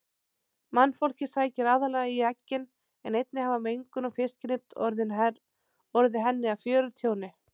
Mannfólkið sækir aðallega í eggin en einnig hafa mengun og fiskinet orðið henni að fjörtjóni.